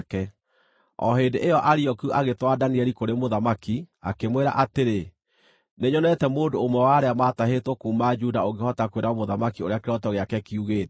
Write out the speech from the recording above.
O hĩndĩ ĩyo Arioku agĩtwara Danieli kũrĩ mũthamaki, akĩmwĩra atĩrĩ, “Nĩnyonete mũndũ ũmwe wa arĩa maatahĩtwo kuuma Juda ũngĩhota kwĩra mũthamaki ũrĩa kĩroto gĩake kiugĩte.”